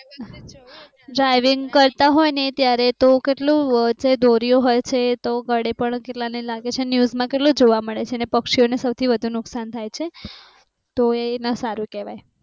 driving કરતા હોય ને ત્યારે તો કેટલુ વચ્ચે દોરીઓ હોય છે તો ગળે પણ કેટલા ને લાગે છે ન્યુઝ મા કેટલુ જોવા મળે છે અને પક્ષીઓ ને સૌથી વધુ નુકસાન થાય છે તો એ ના સારુ કહેવાય